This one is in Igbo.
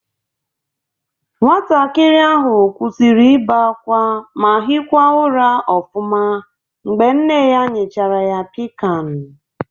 Nwatakịrị ahụ kwụsịrị ịbe ákwá ma hịkwa ụra ọfụma mgbe nne ya nyechara ya Pịkan